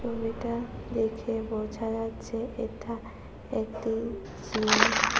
দেখে বোঝা যাচ্ছে এটা একটি জিম ।